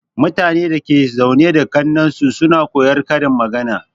Mutanen da suke zaune da kaknninsu suna koyar karin magana.